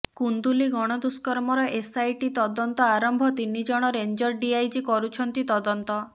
କୁନ୍ଦୁଲି ଗଣଦୁଷ୍କର୍ମର ଏସ୍ଆଇଟି ତଦନ୍ତ ଆରମ୍ଭ ତିନି ଜଣ ରେଞ୍ଜର୍ ଡିଆଇଜି କରୁଛନ୍ତି ତଦନ୍ତ